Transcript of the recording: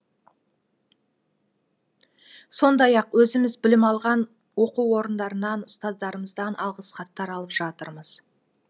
сондай ақ өзіміз білім алған оқу орындарынан ұстаздарымыздан алғыс хаттар алып жатырмыз